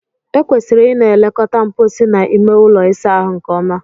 E kwesịrị Ị na-elekọta mposi na ime ụlọ ịsa ahụ nke ọma.